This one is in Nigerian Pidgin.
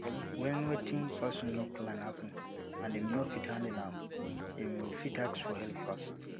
when wetin person no plan happen and im no fit handle am im fit ask for help fast